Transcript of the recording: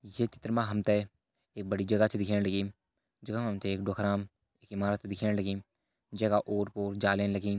ये चित्र मा हम त एक बड़ी जगह छ दिखेण लगीं जखि मा हम त एक डोकरामएक इमारत दिखेण लगीं जैका ओर पोर जाली लगीं।